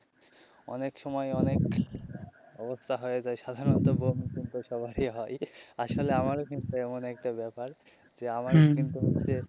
অনেক সময় অনেক অবস্থা হয় যায় সাধারণত বমি তো সবারই হয় আসলে আমারও কিন্তু এমন একটা ব্যাপার যে আমারও কিন্তু হচ্ছে.